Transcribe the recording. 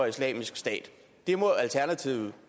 islamisk stat